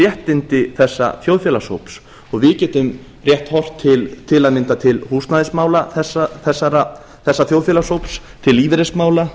réttindi þessa þjóðfélagshóps og við getum rétt horft til að mynda til húsnæðismála þessa þjóðfélagshóps til lífeyrismála